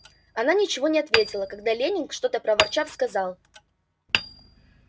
она ничего не ответила когда лэннинг что-то проворчав сказал